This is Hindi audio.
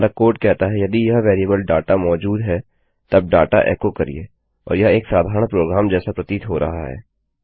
हमारा कोड कहता है यदि यह वेरिएबल डाटा मौजूद है तब डाटा एकोकरिये और यह एक साधारण प्रोग्राम जैसा प्रतीत हो रहा है